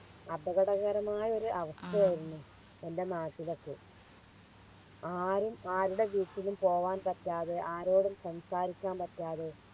അപകടകരമായൊരു അവസ്ഥയായിരുന്നു എൻറെ നാട്ടിലൊക്കെ ആരും ആരുടെ വീട്ടിലും പോകാൻ പറ്റാതെ ആരോടും സംസാരിക്കാൻ പറ്റാതെ